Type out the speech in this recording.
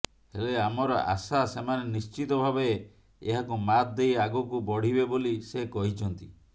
ହେଲେ ଆମର ଆଶା ସେମାନେ ନିଶ୍ଚିତ ଭାବେ ଏହାକୁ ମାତ୍ ଦେଇ ଆଗକୁ ବଢ଼ିବେ ବୋଲି ସେ କହିଛନ୍ତି